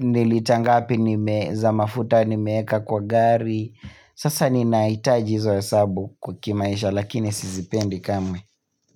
ni lita ngapi nime za mafuta nimeweka kwa gari Sasa ninahitaji hizo hesabu kimaisha lakini sizipendi kamwe.